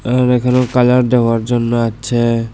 আর এখানেও কালার দেওয়ার জন্য আছে।